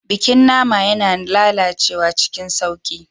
Bikin nama yana lalacewa cikin sauƙi.